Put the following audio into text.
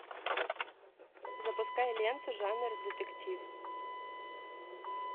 запускай ленту жанр детектив